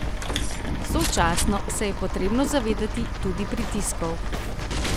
Sočasno se je potrebno zavedati tudi pritiskov.